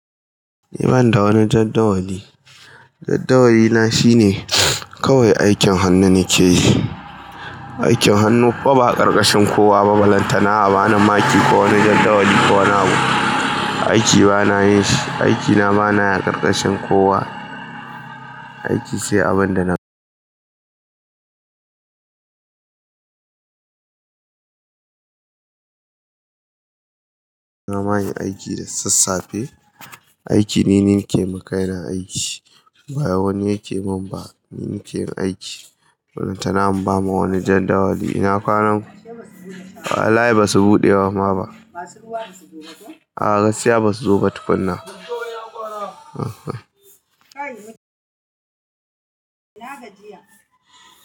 Ni ban da wani jaddawali. Jadawalina shine kawai aikin hannu nake yi. Aikin hannu kuma ba a karkashin kowa ba. Balantana, abani maki ko wani jaddawali ko wani abu. Aiki bana yin shi, aikina bana yi a karkashin kowa. Aiki sai abin da na na ma yin aiki da sassafe. Aiki ni ne nake makai na aiki, ba wani yake min ba. Ni nake yin aiki. Balantana an bamu wani jadawali. Ina kwanan? Wallahi ba su buɗe ba mama masu ruwa basu zo ba ko? Aa, gaskiya ba su zo ba tukunna. Uh huh.